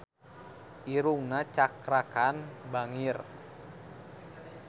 Irungna Cakra Khan bangir